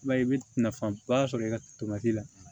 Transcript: I b'a ye i bɛ nafaba sɔrɔ i ka la